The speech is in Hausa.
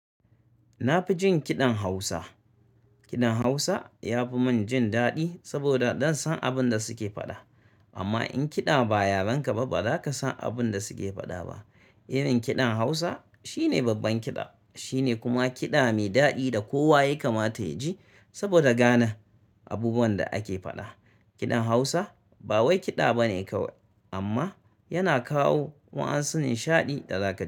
Na fi jin kiɗan Hausa. Kiɗan Hausa ya fi mun jin daɗi saboda zan san abun da suke faɗa. Amma in kiɗa ba yaren ka ba, ba za ka san abun da suke faɗa ba. Irin kiɗan Hausa shine babban kiɗa. Shine kuma kiɗa mai daɗi da kowa ya kamata ya ji saboda gane abubuwan da ake faɗa. Kiɗan Hausa ba wai kiɗa bane kawai amma yana kawo wa'an su nishaɗi da zakaji.